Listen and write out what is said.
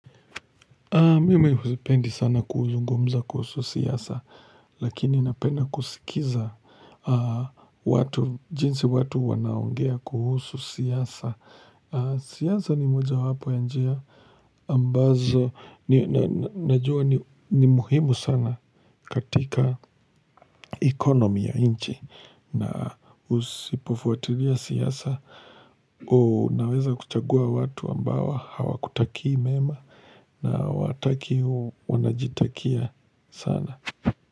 Mimi sipendi sana kuzungumza kuhusu siasa, lakini napenda kusikiza watu, jinsi watu wanaongea kuhusu siasa. Siasa ni mojawapo ya njia, ambazo, najua ni muhimu sana katika economy ya inchi. Na usipofuatilia siasa, unaweza kuchagua watu ambao hawakutakii mema na wakati huo wanajitakia sana.